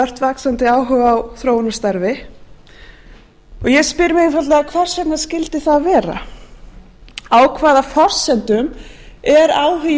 ört vaxandi áhuga á þróunarstarfi ég spyr einfaldlega hvers vegna skyldi það vera á hvaða forsendum er áhugi